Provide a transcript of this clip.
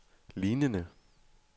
lignende